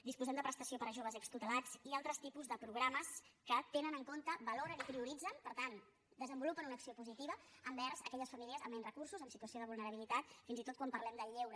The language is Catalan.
disposem de prestació per a joves extutelats i altres tipus de programes que tenen en compte valoren i prioritzen per tant desenvolupen una acció positiva envers aquelles famílies amb menys recursos en situ·ació de vulnerabilitat fins i tot quan parlem del lleu·re